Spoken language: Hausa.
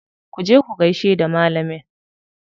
Ku je ku gaishe da malamin.